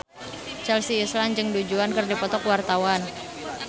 Chelsea Islan jeung Du Juan keur dipoto ku wartawan